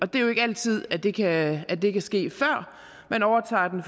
det er jo ikke altid at det kan det kan ske før man overtager den